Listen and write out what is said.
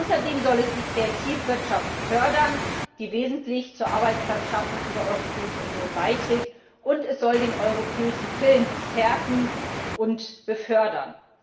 Außerdem soll es die Kreativwirtschaft fördern, die wesentlich zur Arbeitsplatzschaffung in der Europäischen Union beiträgt, und es soll den europäischen Film stärken und fördern.